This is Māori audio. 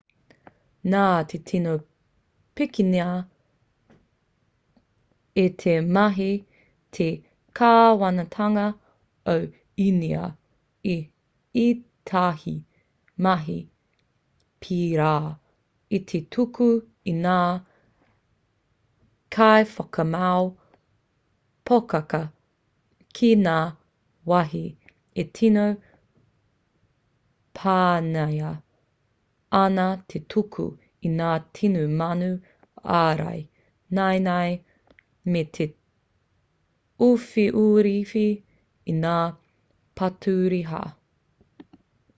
nā te tino pikinga i te mahi te kāwanatanga o īnia i ētahi mahi pērā i te tuku i ngā kaiwhakamau poaka ki ngā wāhi e tino pāngia ana te tuku i ngā tini mano ārai naenae me te uwhiuwhi i ngā paturiha